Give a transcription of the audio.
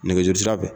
Nɛgɛjuru sira fɛ